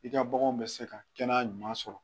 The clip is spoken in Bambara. I ka baganw bɛ se ka kɛnɛya ɲuman sɔrɔ